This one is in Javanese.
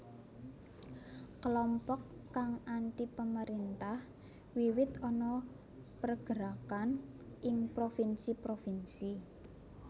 Kelompok kang antipemerintah wiwit ana pergerakan ing provinsi provinsi